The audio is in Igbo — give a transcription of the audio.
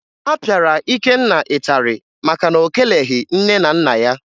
A pịara Ikenna ịtarị maka na o keleghi nne na nna ya